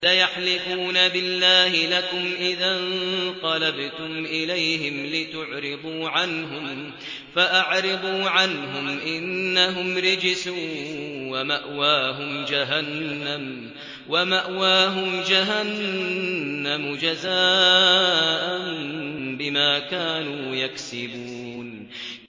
سَيَحْلِفُونَ بِاللَّهِ لَكُمْ إِذَا انقَلَبْتُمْ إِلَيْهِمْ لِتُعْرِضُوا عَنْهُمْ ۖ فَأَعْرِضُوا عَنْهُمْ ۖ إِنَّهُمْ رِجْسٌ ۖ وَمَأْوَاهُمْ جَهَنَّمُ جَزَاءً بِمَا كَانُوا يَكْسِبُونَ